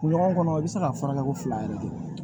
Kun ɲɔgɔn kɔnɔ i bɛ se ka furakɛ ko fila yɛrɛ de